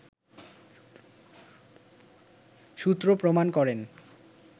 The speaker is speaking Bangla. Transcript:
সূত্র প্রমাণ করেন